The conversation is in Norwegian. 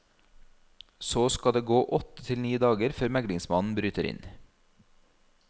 Så skal det gå åtte til ni dager før meglingsmannen bryter inn.